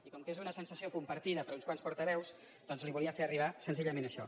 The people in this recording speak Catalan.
i com que és una sensació compartida per uns quants portaveus doncs li volia fer arribar senzillament això